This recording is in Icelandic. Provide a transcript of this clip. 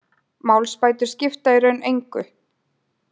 Málsbætur skipta í raun engu.